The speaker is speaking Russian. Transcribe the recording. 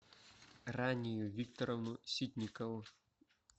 ранию викторовну ситникову